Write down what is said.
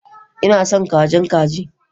Ina son kajin kaji